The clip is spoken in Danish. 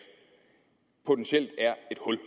potentielt er et hul